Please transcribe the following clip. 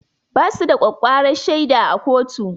Basu da ƙwaƙƙwarar shaida a kotu